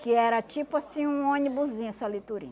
Que era tipo assim um onibuzinho, essa